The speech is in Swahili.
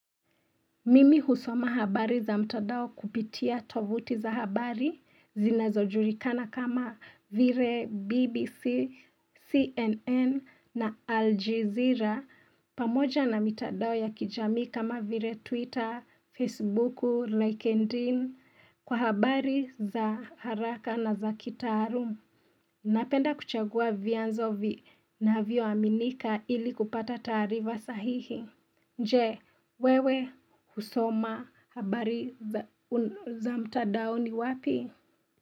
Mimi husoma habari za mtadao kupitia tovuti za habari zinazojulikana kama vile BBC, CNN na Aljezira pamoja na mitandao ya kijamii kama vile Twitter, Facebook, LinkedIn kwa habari za haraka na za kitaalum. Napenda kuchagua vyanzo vinavyoaminika ili kupata taarifa sahihi. Je, wewe husoma habari za mtadaoni wapi?